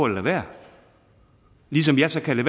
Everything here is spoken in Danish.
lade være ligesom jeg så kan